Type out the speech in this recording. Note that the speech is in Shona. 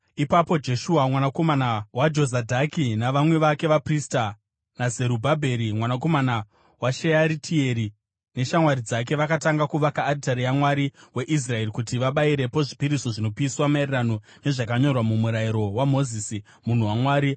Ipapo Jeshua mwanakomana waJozadhaki navamwe vake vaprista naZerubhabheri mwanakomana waShearitieri neshamwari dzake vakatanga kuvaka aritari yaMwari weIsraeri kuti vabayirepo zvipiriso zvinopiswa, maererano nezvakanyorwa muMurayiro waMozisi, munhu waMwari.